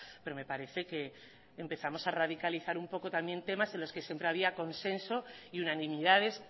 pero me parece que empezamos a radicalizar un poco también temas en los que siempre había consenso y unanimidades